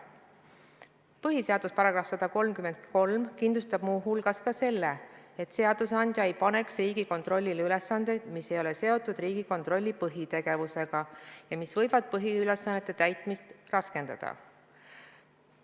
Põhiseaduse § 133 kindlustab muu hulgas ka selle, et seadusandja ei tohi panna Riigikontrollile ülesandeid, mis ei ole seotud Riigikontrolli põhitegevusega ja mis võivad põhiülesannete täitmist raskendada.